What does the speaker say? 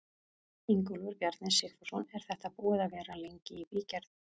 Ingólfur Bjarni Sigfússon: Er þetta búið að vera lengi í bígerð?